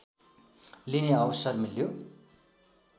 लिने अवसर मिल्यो